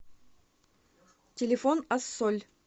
телефон ассоль